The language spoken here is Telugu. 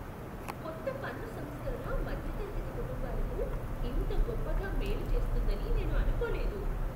కొత్త పన్ను సంస్కరణ మధ్యతరగతి కుటుంబాలకు ఇంత గొప్పగా మేలు చేస్తుందని నేను అనుకోలేదు.